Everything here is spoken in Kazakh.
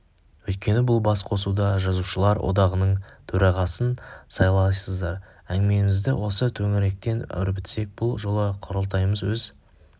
өйткені бұл бас қосуда жазушылар одағының төрағасын сайлайсыздар әңгімемізді осы төңіректен өрбітсек бұл жолғы құрылтайымыз өз